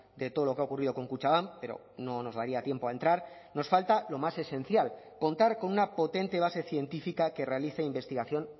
de todo lo que ha ocurrido con kutxabank pero no nos daría tiempo a entrar nos falta lo más esencial contar con una potente base científica que realice investigación